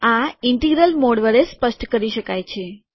આ integral mode વડે સ્પષ્ટ કરી શકાય છે